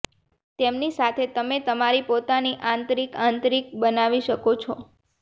તેમની સાથે તમે તમારી પોતાની આંતરિક આંતરિક બનાવી શકો છો